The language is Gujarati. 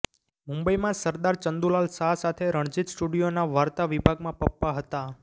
મુંબઇમાં સરદાર ચંદુલાલ શાહ સાથે રણજિત સ્ટુડિયોના વાર્તા વિભાગમાં પપ્પા હતાં